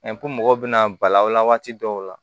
mɔgɔw bɛna bala waati dɔw la